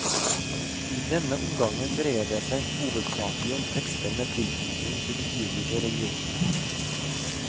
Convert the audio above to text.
I denne omgangen dreier det seg hovedsakelig om tekster med tilknytning til de ulike religionene.